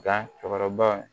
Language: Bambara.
Da cɛkɔrɔba